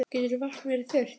Getur vatn verið þurrt?